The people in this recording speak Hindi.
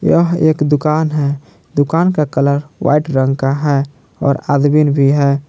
यह एक दुकान है दुकान का कलर व्हाइट रंग का है और आदमीन भी है।